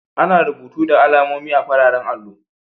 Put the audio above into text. Ana rubutu da alamomi a'fararen allo.